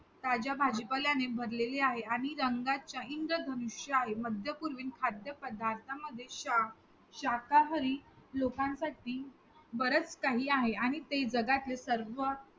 ताज्या भाजीपाल्यांने भरलेले आहे आणि रंगाच्या इंद्रधनुष्य आहे. मध्यपूर्वील खाद्यपदार्थामध्ये शाक~ शाकाहारी लोकांसाठी बरंच काही आहे आणि ते जगातील सर्व